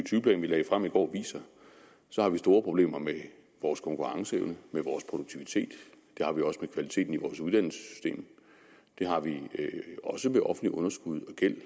tyve plan vi lagde frem i går viser har vi store problemer med vores konkurrenceevne vores produktivitet det har vi også med kvaliteten i vores uddannelsessystem det har vi også med offentligt underskud og gæld